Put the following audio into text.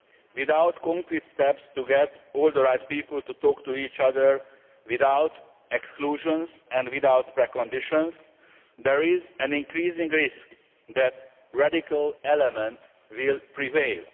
Without concrete steps to get all the right people to talk to each other without exclusions and without preconditions, there is an increasing risk that radical elements will prevail.